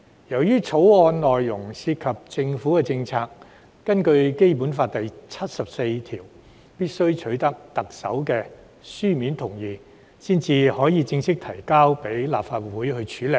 由於《條例草案》內容涉及政府的政策，根據《基本法》第七十四條，必須取得特首的書面同意才可正式提交立法會處理。